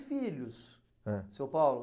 filhos, ãh, seu Paulo?